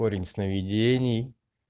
корень сновидений